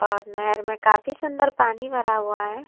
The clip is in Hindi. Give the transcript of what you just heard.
ओर नहर में काफी सुन्दर पानी भरा हुआ है।